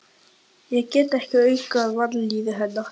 Ég gat ekki aukið á vanlíðan hennar.